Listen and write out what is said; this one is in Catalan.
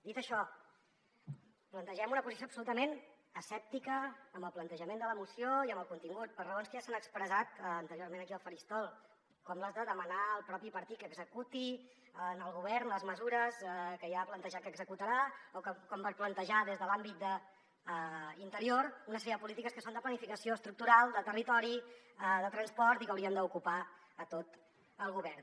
dit això plantegem una posició absolutament escèptica amb el plantejament de la moció i amb el contingut per raons que ja s’han expressat anteriorment aquí al faristol com les de demanar el propi partit que executi el govern les mesures que ja ha plantejat que executarà o com per plantejar des de l’àmbit d’interior una sèrie de polítiques que són de planificació estructural de territori de transport i que haurien d’ocupar a tot el govern